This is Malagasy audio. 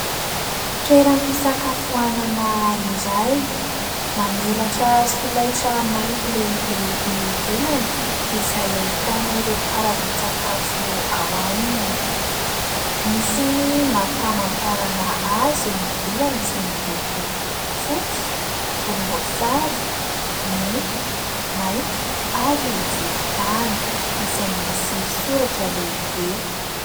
Toeram-pisakafoanana iray, mamelatra solaitra mainty lehibe eo ivelany, izay ahitana ireo karazan-tsakafo ao aminy. Misy ny marim-pamantarana azy eo ivelany, izay miloko fotsy, volomboasary, mena, mainty, ary volontany, izay misy soratra lehibe.